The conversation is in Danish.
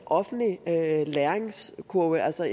offentlig læringskurve altså